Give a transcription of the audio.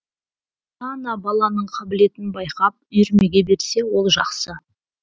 ата ана баланың қабілетін байқап үйірмеге берсе ол жақсы